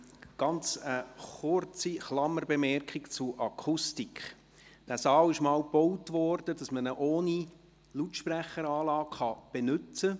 Eine kurze Klammerbemerkung zur Akustik: Dieser Saal wurde einmal dafür erbaut, um ihn ohne Lautsprecheranlage zu benützen.